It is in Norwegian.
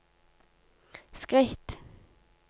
skritt